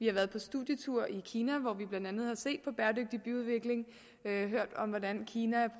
har været på studietur i kina hvor vi blandt andet har set på bæredygtig byudvikling og hørt om hvordan kina